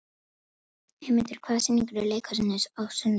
Eymundur, hvaða sýningar eru í leikhúsinu á sunnudaginn?